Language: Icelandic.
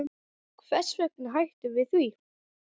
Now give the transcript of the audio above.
Hvers vegna hættum við því?